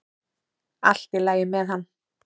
Allt í lagi með hann.